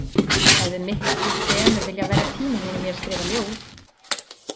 Hefði miklu fremur viljað verja tíma mínum í að skrifa ljóð.